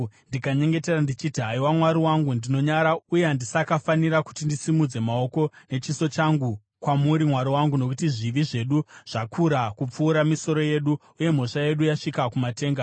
ndikanyengetera, ndichiti: “Haiwa Mwari wangu, ndinonyara uye handisakafanira kuti ndisimudze maoko nechiso changu kwamuri, Mwari wangu, nokuti zvivi zvedu zvakakura kupfuura misoro yedu uye mhosva yedu yasvika kumatenga.